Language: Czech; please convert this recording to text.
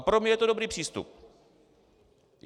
A pro mě je to dobrý přístup.